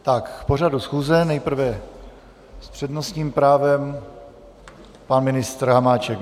K pořadu schůze nejprve s přednostním právem pan ministr Hamáček.